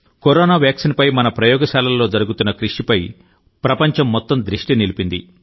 corona వ్యాక్సిన్పై మన ప్రయోగశాలల్లో జరుగుతున్న కృషిపై ప్రపంచం మొత్తం దృష్టి నిలిపింది